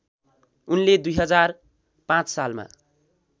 उनले २००५ सालमा